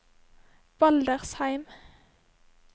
Baldersheim